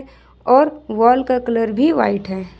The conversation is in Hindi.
और वॉल का कलर भी वाइट है।